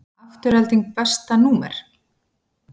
Afturelding Besta númer?